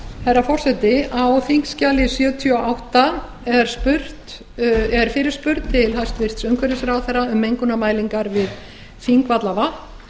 herra forseti á þingskjali sjötíu og átta er fyrirspurn til hæstvirts umhverfisráðherra um mengunarmælingar við þingvallavatn